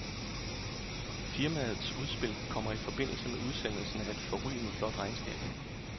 Firmaets udspil kommer i forbindelse med udsendelsen af et forrygende flot regnskab.